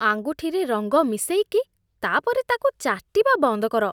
ଆଙ୍ଗୁଠିରେ ରଙ୍ଗ ମିଶେଇକି ତା'ପରେ ତା'କୁ ଚାଟିବା ବନ୍ଦ କର ।